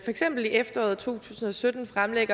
eksempel i efteråret to tusind og sytten fremlagde